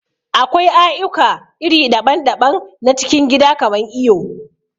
Akwai aƴuka iri daɓan-daɓan na cikin gida kaman iyo.